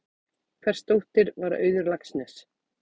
Hvers dóttir var Auður Laxness?